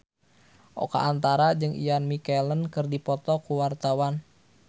Oka Antara jeung Ian McKellen keur dipoto ku wartawan